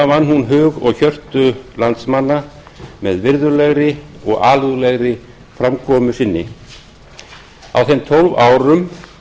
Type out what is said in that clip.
vann hún hug og hjörtu landsmanna með virðulegri og alúðlegri framkomu sinni á þeim tólf árum